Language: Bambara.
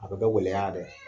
A kun tɛ gɛlɛya dɔn .